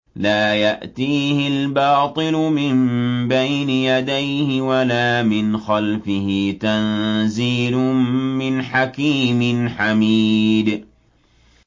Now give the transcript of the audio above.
لَّا يَأْتِيهِ الْبَاطِلُ مِن بَيْنِ يَدَيْهِ وَلَا مِنْ خَلْفِهِ ۖ تَنزِيلٌ مِّنْ حَكِيمٍ حَمِيدٍ